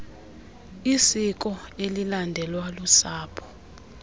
isiko elilandelwa lusapho